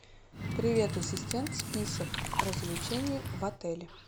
привет ассистент список развлечений в отеле